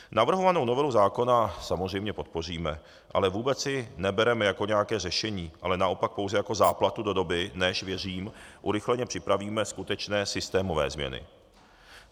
Navrhovanou novelu zákona samozřejmě podpoříme, ale vůbec ji nebereme jako nějaké řešení, ale naopak pouze jako záplatu do doby, než, věřím, urychleně připravíme skutečné systémové změny.